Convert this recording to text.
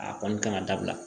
A kɔni ka kan ka dabila